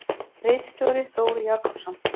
Ritstjóri: Þór Jakobsson.